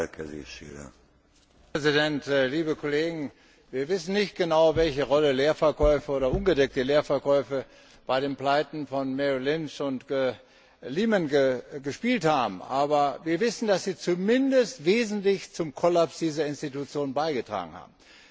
Herr Präsident, liebe Kollegen! Wir wissen nicht genau, welche Rolle Leeverkäufe oder ungedeckte Leerverkäufe bei den Pleiten von Merrill Lynch und Lehman gespielt haben, aber wir wissen, dass sie zumindest wesentlich zum Kollaps dieser Institutionen beigetragen haben.